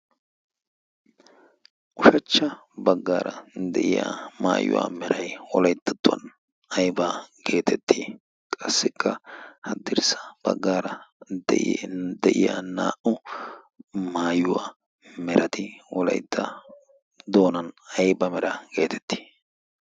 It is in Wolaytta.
ushachcha baggaara de'iya maayuwaa meray wolaittattuwan aiba geetettii qassikka haddirssa baggaara de'iya naa'u maayuwaa merati olaitta doonan aiba mera geetettii?